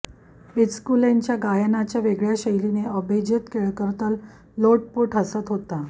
बिचूकलेंच्या गायनाच्या वेगळ्या शैलीने अभेजेत केळकर तर लोटपोट हसत होता